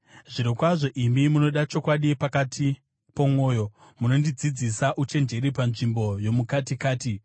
Zvirokwazvo imi munoda chokwadi pakati pomwoyo; munondidzidzisa uchenjeri panzvimbo yomukatikati.